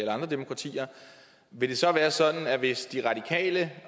andre demokratier vil det så være sådan at hvis de radikale